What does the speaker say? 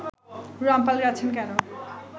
রামপাল যাচ্ছেন কেন